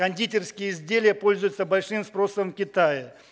кондитерские изделия пользуются большим спросом в китае